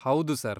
ಹೌದು, ಸರ್.